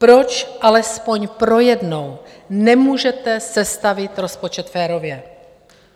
Proč alespoň pro jednou nemůžete sestavit rozpočet férově?